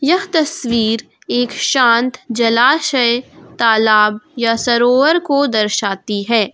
यह तस्वीर एक शांत जलाशय तालाब या सरोवर को दर्शाती है।